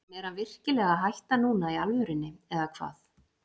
En er hann virkilega að hætta núna í alvörunni eða hvað?